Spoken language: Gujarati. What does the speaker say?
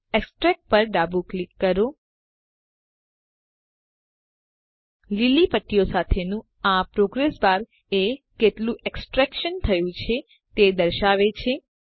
એક્સટ્રેક્ટ પર ડાબું ક્લિક કરો લીલી પટ્ટીઓ સાથેનું આ પ્રોગ્રેસ બાર એ કેટલું એક્સટ્રેક્શન થયું છે તે દર્શાવે છે